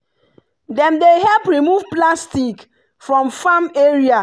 dem dey help remove plastic from farm area.